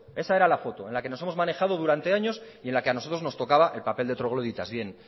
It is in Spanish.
esa era la foto en la que nos hemos manejado durante años y a los que a nosotros nos tocaba el papel de trogloditas dicho